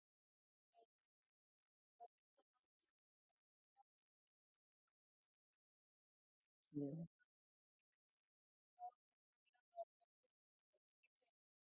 कि कारण काय होतं, बरेचजणांच्या घरातूनच छोटी मुलं असतात किंवा काय? त्यांच्यामुळे थोडंस problem येतो आणि लोकं company ला जबाबदार धरुन अं चुकीचे लावतात.